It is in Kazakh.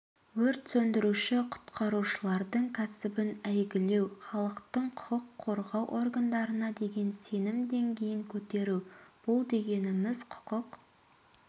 өрт сөндіруші-құтқарушылардың кәсібін әйгілеу халықтың құқық қорғау органдарына деген сенім деңгейін көтеру бұл дегеніміз құқық